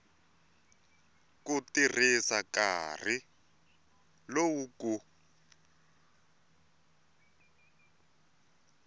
ku tirhisa nkarhi lowu ku